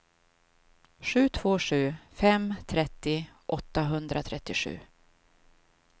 sju två sju fem trettio åttahundratrettiosju